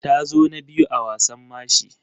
Ta zo na biyu a wasan mashi.